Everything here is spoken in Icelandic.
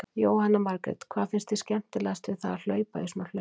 Jóhanna Margrét: Hvað finnst þér skemmtilegt við það að hlaupa í svona hlaupi?